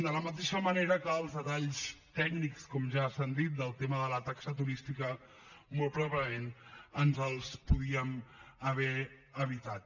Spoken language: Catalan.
de la mateixa manera que els detalls tècnics com ja s’ha dit del tema de la taxa turística molt probablement ens els podíem haver evitat